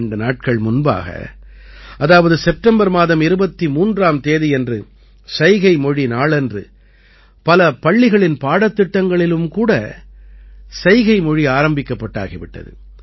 இரண்டு நாட்கள் முன்பாக அதாவது செப்டம்பர் மாதம் 23ஆம் தேதியன்று சைகை மொழி நாளன்று பல பள்ளிகளின் பாடத்திட்டங்களிலும் கூட சைகை மொழி ஆரம்பிக்கப்பட்டாகி விட்டது